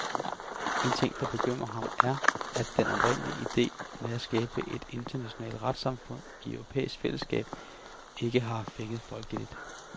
En ting, der bekymrer ham er, at den oprindelige ide med at skabe et internationalt retssamfund i europæisk fællesskab ikke har fænget folkeligt.